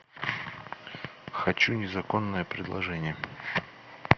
хочу незаконное предложение